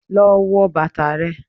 Lọ wo bàtà rẹ.